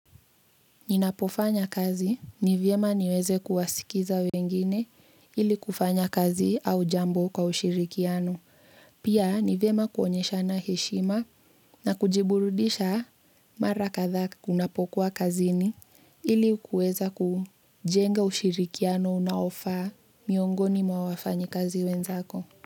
Ninapofanya kazi, ni vyema niweze kuwasikiza wengine ili kufanya kazi au jambo kwa ushirikiano. Pia, nivyema kuonyeshana heshima na kujiburudisha mara kathaa kunapokuwa kazini ili kuweza kujenga ushirikiano unaofaa miongoni mwa wafanyikazi wenzako.